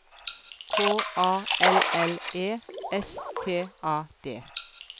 K A L L E S T A D